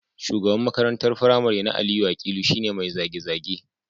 Shugaban makarantar firamare na Aliyu Akilu shi ne mai zage-zage